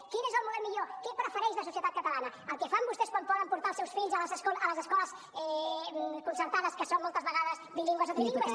quin és el model millor què prefereix la societat catalana el que fan vostès quan volen portar els seus fills a les escoles concertades que són moltes vegades bilingues o trilingües